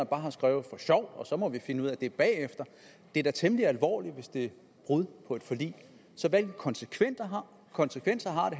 bare skriver for sjov og så må vi finde ud af det bagefter det er da temmelig alvorligt hvis det er et brud på et forlig så hvilke konsekvenser konsekvenser har